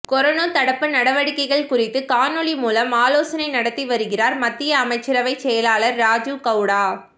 corona தடுப்பு நடவடிக்கை குறித்து காணொலி மூலம் ஆலோசனை நடத்தி வருகிறார் மத்திய அமைச்சரவை செயலாளர் ராஜீவ் கவுடா